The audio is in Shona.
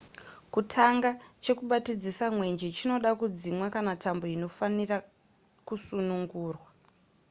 kutanga chekubatidzisa mwenje chinoda kudzimwa kana tambo inofanirwa kusunungurwa